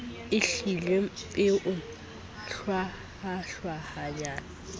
e hlileng e o hwayahwayang